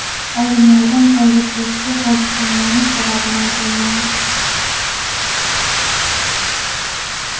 Olimlar hozircha ushbu hodisaning aniq sababini ayta olmayapti.